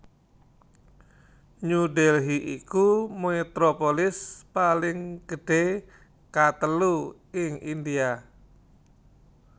New Delhi iku metropolis paling gedhé katelu ing India